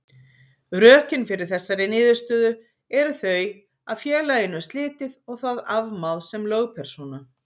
Rökin fyrir þessari niðurstöðu eru þau að félaginu er slitið og það afmáð sem lögpersóna.